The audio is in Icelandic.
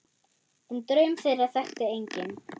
En draum þeirra þekkti enginn.